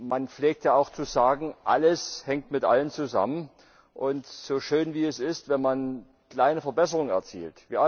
man pflegt ja auch zu sagen Alles hängt mit allem zusammen, so schön es auch ist, wenn man kleine Verbesserungen erzielt.